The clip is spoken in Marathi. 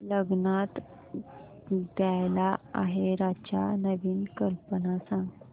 लग्नात द्यायला आहेराच्या नवीन कल्पना सांग